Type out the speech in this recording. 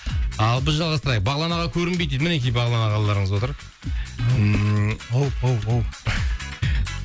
ал біз жалғастырайық бағлан аға көрінбейді дейді мінекей бағлан ағаларыңыз отыр ммм ау ау ау